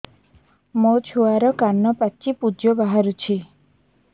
ମୋ ଛୁଆର କାନ ପାଚି ପୁଜ ବାହାରୁଛି